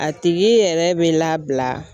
A tigi yɛrɛ bɛ labila.